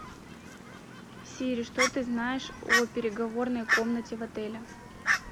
сири что ты знаешь о переговорной комнате в отеле